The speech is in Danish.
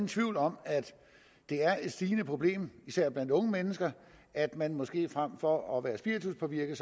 tvivl om at det er et stigende problem især blandt unge mennesker at man måske frem for at være spirituspåvirket